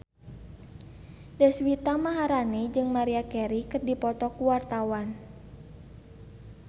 Deswita Maharani jeung Maria Carey keur dipoto ku wartawan